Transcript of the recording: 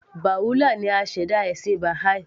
Baha'u'llah ni aṣẹ̀dá ẹ̀sìn Baha'i